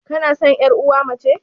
Kanasan yar uwa mace?